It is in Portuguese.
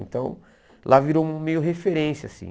Então, lá virou meio referência, assim.